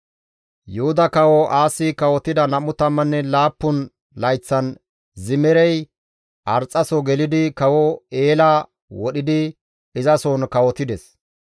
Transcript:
Yuhuda kawo Aasi kawotida 27 layththan Zimirey Arxxaso gelidi kawo Eela wodhidi izasohon kawotides.